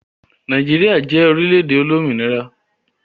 Nigeria je orile-ede olominira.